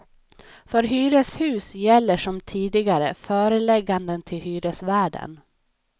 För hyreshus gäller som tidigare förelägganden till hyresvärden.